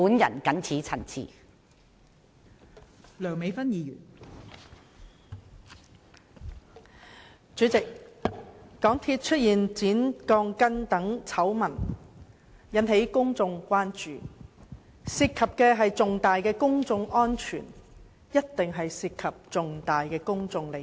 代理主席，香港鐵路有限公司工程出現剪鋼筋醜聞，引起公眾關注，由於事件關乎公眾安全，一定涉及重大的公眾利益。